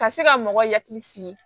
Ka se ka mɔgɔ hakili sigi